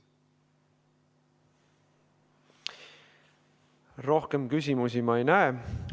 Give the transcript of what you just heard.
Rohkem küsimusi ma ei näe.